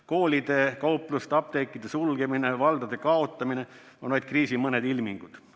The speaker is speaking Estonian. Koolide, kaupluste, apteekide sulgemine, valdade kaotamine on vaid kriisi mõned ilmingud.